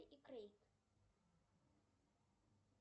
и крейг